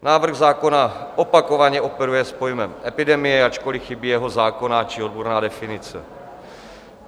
Návrh zákona opakovaně operuje s pojmem epidemie, ačkoli chybí jeho zákonná či odborná definice.